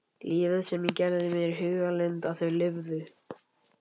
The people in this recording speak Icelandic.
Lífið sem ég gerði mér í hugarlund að þau lifðu.